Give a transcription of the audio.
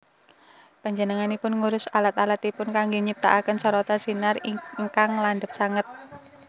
Panjenenganipun ngurus alat alatipun kanggé nyiptakaken sorotan sinar X ingkang landhep sanget